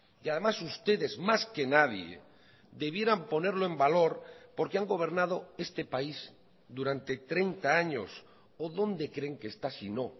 y además ustedes más que nadie debieran ponerlo en valor porque han gobernado este país durante treinta años o dónde creen que está sino